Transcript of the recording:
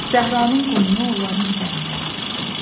Zəhranın qumunu onların üzərinə yağdırdı.